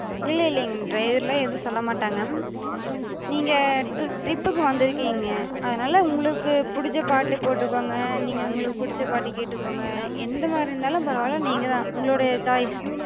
இல்ல இல்லிங்க, driver லா எது சொல்லமாட்டாங்க. நீங்க trip கு வந்துருக்கிங்க, அதனால உங்களுக்குப் புடிச்ச பாட்டு போட்டுக்கோங்க, நீங்க உங்களுக்குப் புடிச்ச பாட்டு கேட்டக்கோங்க, எந்த மாரி இருந்தாலு பரவால நீங்கதா உங்களுடைய choice.